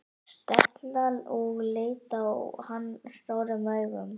Stella og leit á hann stórum augum.